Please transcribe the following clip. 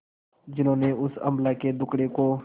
जिन्होंने उस अबला के दुखड़े को